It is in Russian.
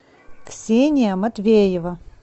ксения матвеева